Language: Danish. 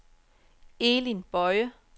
Elin Boye